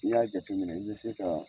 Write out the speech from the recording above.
N'i y'a jateminɛ i bɛ se ka